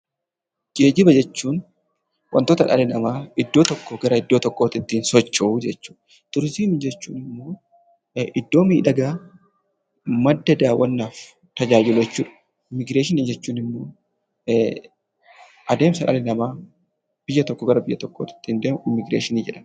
Geejjiba jechuun wantota dhala namaa iddoo tokkoo gara iddoo tokkootitti ittiin socho'uu jechuudha. Turizimii jechuun immoo iddoo miidhagaa madda daawwannaaf tajaajilu jechuudha. Immigireeshinii jechuun immoo adeemsa dhalli namaa biyya tokkoo gara biyya tokkootti ittiin deemu immigireeshinii jedhama.